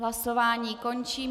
Hlasování končím.